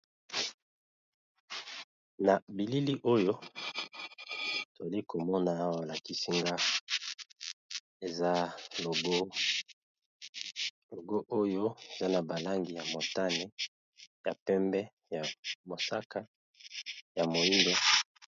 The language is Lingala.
Na bilili oyo toli komona aolakisi nga eza logo. Logo oyo eza na ba langi ya motani, ya pembe, ya mosaka, ya moyindo.